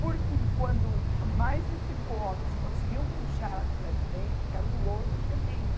Por fim, quando mais de cinco homens conseguiram puxá-la de lá de dentro, porque era um lodo tremendo,